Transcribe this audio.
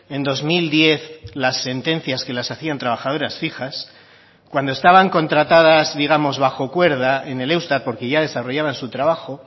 en dos mil diez las sentencias que las hacían trabajadoras fijas cuando estaban contratadas digamos bajo cuerda en el eustat porque ya desarrollaban su trabajo